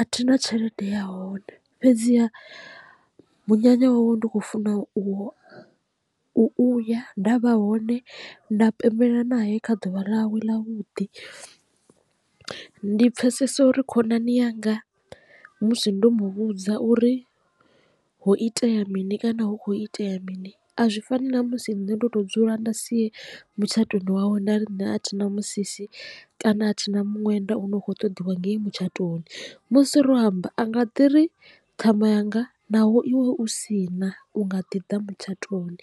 a thina tshelede ya hone fhedziha munyanya wawe ndi khou funa u u ya nda vha hone nda pembelela nae kha ḓuvha ḽawe ḽa vhuḓi, ndi pfhesesa uri khonani yanga musi ndo mu vhudza uri ho itea mini kana hu kho itea mini a zwi fani na musi nṋe ndo to dzula nda si ye mutshatoni wawe nda ri nṋe a thina musisi kana a thina muṅwenda une u kho ṱoḓiwa ngei mutshatoni. Musi ro amba a nga ḓiri ṱhama yanga naho iwe u si na u nga ḓi da mutshatoni.